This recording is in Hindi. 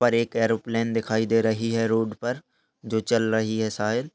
पर एक एरोप्लेन दिखाई दे रही है रोड पर जो चल रही है शायद।